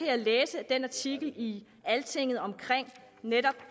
jeg læse i den artikel i altinget om